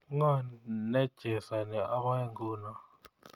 Ngo nechesani oboe nguno